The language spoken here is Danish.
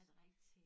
Er det rigtig